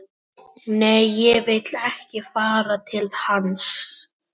Nei, ég vil ekki fara til hans